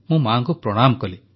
ମୁଁ ମାଆଙ୍କୁ ପ୍ରଣାମ କଲି